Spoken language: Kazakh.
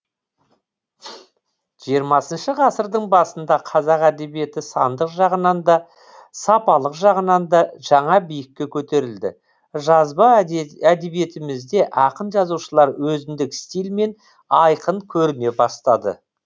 жиырмасыншы ғасырдың басында қазақ әдебиеті сандық жағынан да сапалық жағынан да жаңа биікке көтерілді жазба әдебиетімізде ақын жазушылар өзіндік стильмен айқын көріне бастады